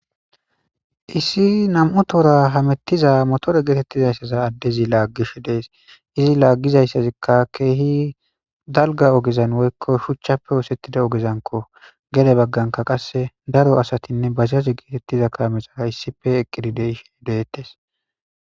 Issi nam7u tora hamettiza motore geetettizayssaza addezi laaggish dees izi laaggizayssazikka keehi dalga ogezan woykko shuchchappe oosettida ogezanko gede bagganka qasse daro asatinne bazizaze geetettiza kaamexara issife eqqidi deihe deyettes.